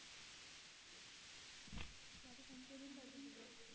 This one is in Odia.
ଚାରି ପାଞ୍ଚ ଦିନ ଲାଗିଯିବ?